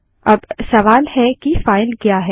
अब सवाल है की फाइल क्या है